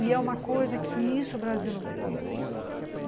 E é uma coisa que isso o Brasil não pegou.